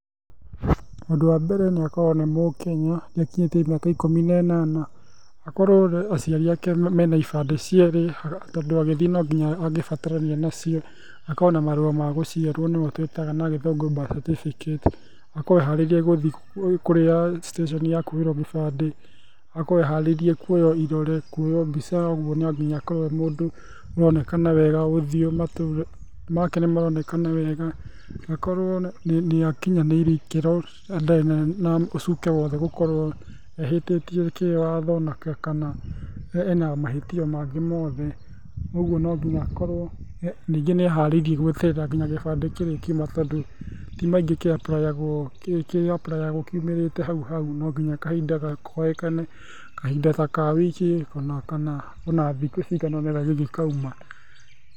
Ũndũ wa mbere nĩ akorwo nĩ mũkenya, nĩ akinyĩtie mĩaka ikũmi na ĩnana, akorwo aciari ake mena ibandi cierĩ , tondũ agĩthiĩ no nginya angĩbatarania nacio, akorwo na marũa magũciarwo nĩmotwĩtaga na gĩthũngũ birth certificate, akorwo e harĩirie guthiĩ citĩceni ya kuoerwo gĩbandĩ, akorwo eharĩirie kuoywo irore, kuoywo mbica, ũguo no nginya akorwo e mũndũ uronekana wega ũthiũ, matũ make nĩ maronekana wega, na akorwo nĩ akinyanĩirie ikĩro na ndarĩ na ũcuke o wothe gũkorwo ehĩtie kĩwatho kana ena mahĩtia mangĩ mothe , ũgũo no nginya akorwo ningĩ nĩ eharĩirie gweterera nginya rĩrĩa gĩbandĩ kĩrĩkiuma tondũ ti maingĩ kĩaprayagwo kiumĩrĩte haũ haũ no nginya kahinda konekane, kahinda taka wiki, kana ona thikũ cigana ona kĩngĩkauma.